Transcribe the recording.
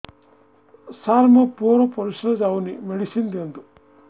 ସାର ମୋର ପୁଅର ପରିସ୍ରା ଯାଉନି ମେଡିସିନ ଦିଅନ୍ତୁ